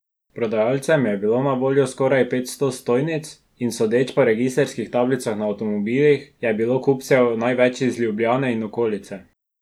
Prodajalcem je bilo na voljo skoraj petsto stojnic, in sodeč po registrskih tablicah na avtomobilih, je bilo kupcev največ iz Ljubljane in okolice.